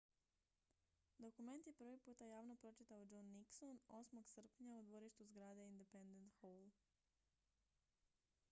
dokument je prvi puta javno pročitao john nixon 8. srpnja u dvorištu zgrade independence hall